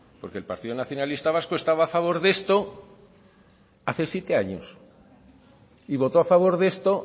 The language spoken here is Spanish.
porque el partido nacionalista vasco estaba a favor de este hace siete años y voto a favor de esto